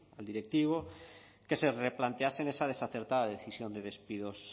al directivo que se replantease esa desacertada decisión de despidos